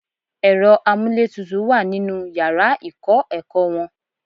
Ẹ̀rọ amúlétutù wà nínú yàrá ìkọ́-ẹ̀kọ́ wọn.